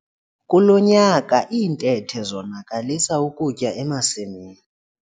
Kulo nyaka iintethe zonakalisa ukutya emasimini.